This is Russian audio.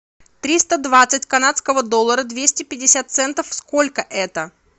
триста двадцать канадского доллара двести пятьдесят центов сколько это